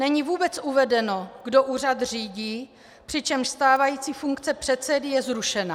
Není vůbec uvedeno, kdo úřad řídí, přičemž stávající funkce předsedy je zrušena.